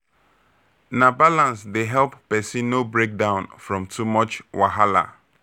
Na balance dey help person no break down from too much wahala.